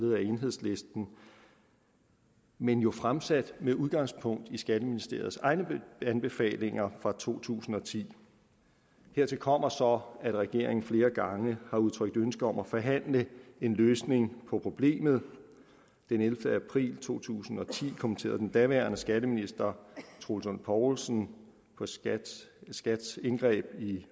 af enhedslisten men jo fremsat med udgangspunkt i skatteministeriets egne anbefalinger fra to tusind og ti hertil kommer så at regeringen flere gange har udtrykt ønske om at forhandle en løsning på problemet den ellevte april to tusind og ti kommenterede den daværende skatteminister troels lund poulsen skats skats indgreb i